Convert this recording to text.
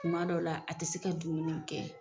Tuma dɔw la a tɛ se ka dumuni kɛ.